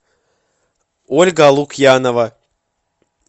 ольга лукьянова